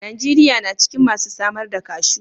Najeriya na cikin masu samar da cashew.